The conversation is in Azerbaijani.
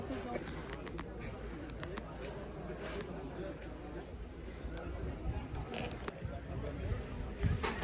Dedi ki, mən özüm də elə danışıram, nə var ki, yəni, o həmişə, yəni, o gərək, bəzən, o, əslində, bu qayda olacaq.